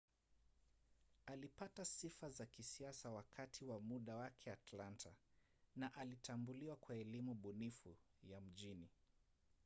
alipata sifa za kisiasa wakati wa muda wake atlanta na alitambuliwa kwa elimu bunifu ya mjini